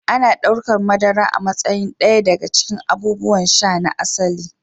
Ana ɗaukar madara a matsayin ɗaya daga cikin abubuwan sha "na asali".